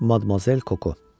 Madmozell Koko.